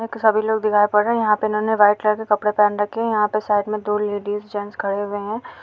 सभी लोग दिखाई पड़ रहे है यहाँ पे इन्होंने व्हाइट कलर के कपड़े पहन रखे है यहाँ पे साइड में दो लेडीज जेंट्स खड़े हुए हैं।